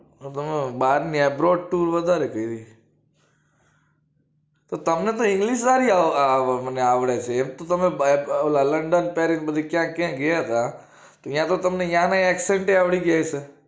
તો તમે બારની abroad tour વધારે કેરી છે તો તમને તો english સારી મને આવડે છે એમ તો તમે ઓલા london paris બધે ક્યાંક ક્યાંક ગયા હતા ત્યા તો તમને યા ના accent આવડી ગયા હશે